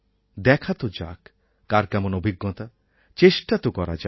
দেখা তো তো যাক কার কেমন অভিজ্ঞতা চেষ্টা তো করা যাক